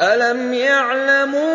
أَلَمْ يَعْلَمُوا